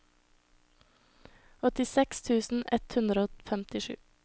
åttiseks tusen ett hundre og femtisju